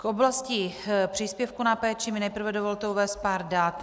K oblasti příspěvku na péči mi nejprve dovolte uvést pár dat.